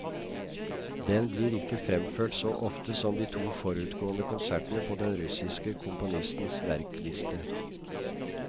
Den blir ikke fremført så ofte som de to forutgående konsertene på den russiske komponistens verkliste.